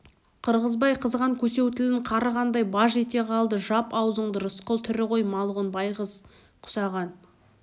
қырғызбай қызған көсеу тілін қарығандай баж ете қалды жап аузыңды рысқұл тірі ғой малғұн байғыз құсаған